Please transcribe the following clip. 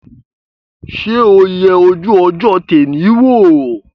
Ṣé o yẹ ojú ọjọ́ tẹ́nì wò?